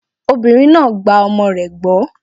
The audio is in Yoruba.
Obìnrin náà gba ọmọ rẹ̀ gbọ́.